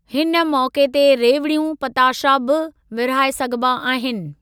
हिन मौक़े ते रेवड़ियूं पताशा बि विरहाइ सघिबा आहिनि।